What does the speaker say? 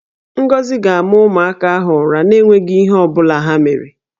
Ngozi ga-ama ụmụaka ahụ ụra na-enweghi ihe ọ bụla ha mere